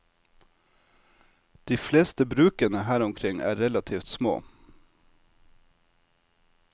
De fleste brukene her omkring er relativt små.